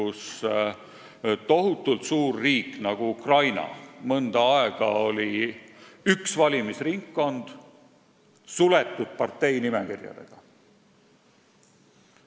Sellises tohutult suures riigis nagu Ukraina oli mõnda aega üks valimisringkond suletud parteinimekirjadega.